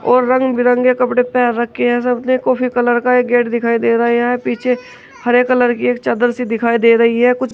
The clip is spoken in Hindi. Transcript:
और रंग बिरंगे कपड़े पहन रखे हैं सामने कॉफी कलर का एक गेट दिखाई दे रहा है यहां पीछे हरे कलर की एक चादर सी दिखाई दे रही है कुछ--